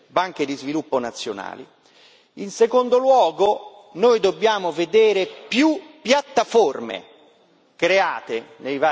In secondo luogo, noi dobbiamo vedere più piattaforme create nei vari paesi e anche transnazionali.